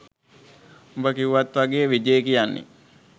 උඹ කිව්වත් වගේ විජේ කියන්නෙ